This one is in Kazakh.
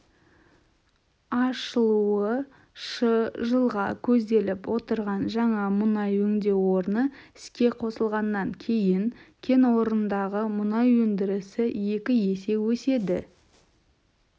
ашылуы шы жылға көзделіп отырған жаңа мұнай өңдеу орны іске косылғаннан кейін кен орнындағы мұнай өндірісі екі есе өседі